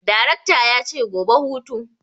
Darekta yace gobe hutu!